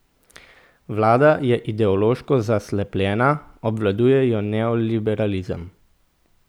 Vlada je ideološko zaslepljena, obvladuje jo neoliberalizem.